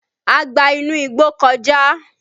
A gba inú igbó kọjá